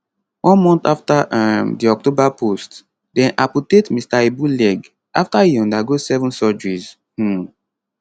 one month afta um di october post dem amputate mr ibu leg afta e undergo seven surgeries um